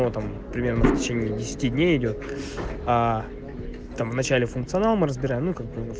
ну там примерно в течение десяти дней идёт а там в начале функционал мы разбираем ну как бы